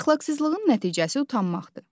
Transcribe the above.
Əxlaqsızlığın nəticəsi utanmaqdır.